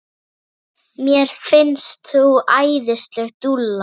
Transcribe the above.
Mér finnst þú æðisleg dúlla!